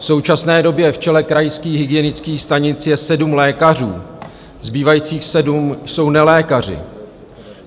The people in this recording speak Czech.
V současné době v čele krajských hygienických stanic je sedm lékařů, zbývajících sedm jsou nelékaři.